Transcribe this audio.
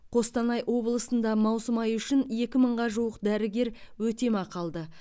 қостанай облысында маусым айы үшін екі мыңға жуық дәрігер өтемақы алды